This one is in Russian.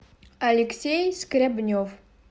алексей скрябнев